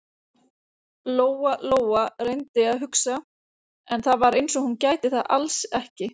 Lóa-Lóa reyndi að hugsa, en það var eins og hún gæti það alls ekki.